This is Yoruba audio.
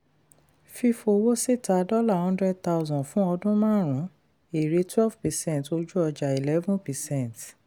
fífowó síta dollar hundred thousand fún ọdún márùn-ún èrè twelve percent ojú-ọjà eleven percent.